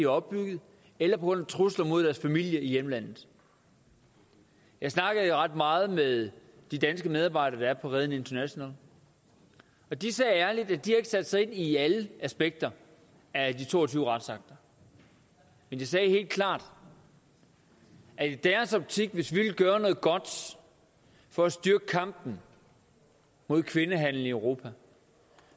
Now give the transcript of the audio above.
opbygget eller på grund af trusler mod deres familie i hjemlandet jeg snakkede ret meget med de danske medarbejdere der er på reden international og de sagde ærligt at de ikke har sat sig ind i alle aspekter af de to og tyve retsakter men de sagde helt klart at hvis vi ville gøre noget godt for at styrke kampen mod kvindehandel i europa